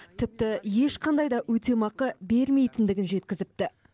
тіпті ешқандай да өтемақы бермейтіндігін жеткізіпті